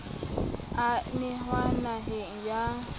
e a nenwa naheng ya